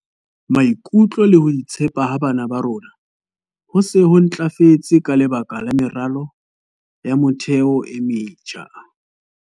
"Maikutlo le ho itshepa ha bana ba rona ho se ho ntlafetse ka lebaka la meralo ya motheo e metjha."